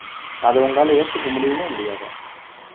அத உங்களால ஏத்துக்க முடியுமா முடியாதா